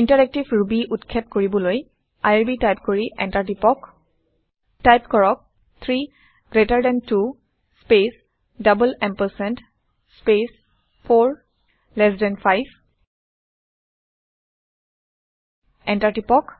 interactive Ruby উৎক্ষেপ কৰিবলৈ IRB type কৰি এণ্টাৰ টিপক টাইপ কৰক - 3 greater than 2 space double ampersand space 4 less than 5 enter টিপক